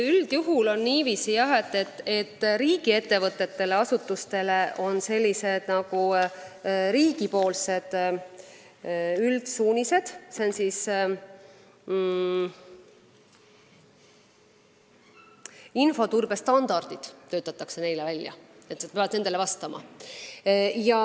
Üldjuhul on niiviisi, et riigiettevõtetele ja -asutustele annab riik üldsuunised ning töötab välja infoturbestandardid, millele peab vastama.